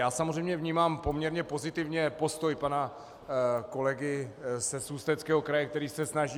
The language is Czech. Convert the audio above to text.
Já samozřejmě vnímám poměrně pozitivně postoj pana kolegy z Ústeckého kraje, který se snaží.